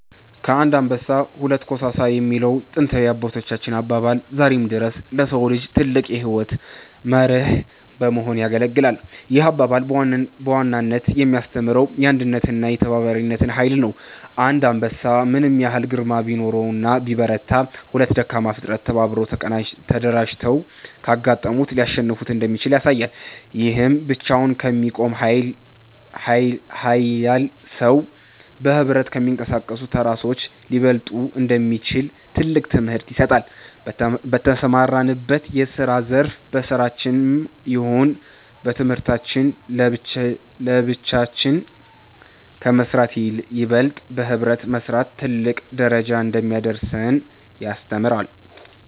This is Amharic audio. ከአንድ አንበሳ ሁለት ኮሳሳ የሚለው ጥንታዊ የአባቶቻችን አባባል ዛሬም ድረስ ለሰው ልጆች ትልቅ የሕይወት መርህ በመሆን ያገለግላል። ይህ አባባል በዋናነት የሚያስተምረው የአንድነትንና የተባባሪነትን ኃይል ነው። አንድ አንበሳ ምንም ያህል ግርማ ቢኖረውና ቢበረታ፤ ሁለት ደካማ ፍጥረታት ተባብረውና ተደራጅተው ካጋጠሙት ሊያሸንፉት እንደሚችሉ ያሳያል። ይህም ብቻውን ከሚቆም ኃያል ሰው፣ በኅብረት ከሚንቀሳቀሱ ተራ ሰዎች ሊበለጥ እንደሚችል ትልቅ ትምህርት ይሰጣል። በተሰማራንበት የስራ ዘርፍ በስራችንም ይሁን በትምህርታችን ለብቻችን ከመስራት ይበልጥ በህብረት መስራት ትልቅ ደረጃ እንደሚያደርሰን ያስተምረናል።